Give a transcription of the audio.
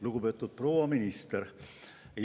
Lugupeetud proua minister!